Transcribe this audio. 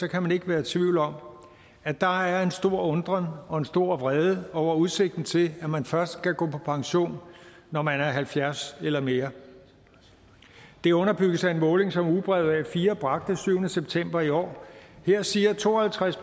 kan man ikke være i tvivl om at der er en stor undren og en stor vrede over udsigten til at man først skal gå på pension når man er halvfjerds år eller mere det underbygges af en måling som ugebrevet a4 bragte den syvende september i år her siger to og halvtreds